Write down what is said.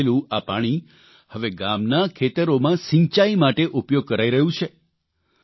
અને ગાળેલું આ પાણી હવે ગામના ખેતરોમાં સિંચાઇ માટે ઉપયોગ કરાઇ રહ્યું છે